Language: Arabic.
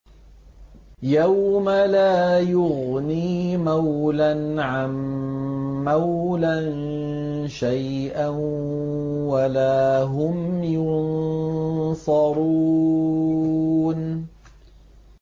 يَوْمَ لَا يُغْنِي مَوْلًى عَن مَّوْلًى شَيْئًا وَلَا هُمْ يُنصَرُونَ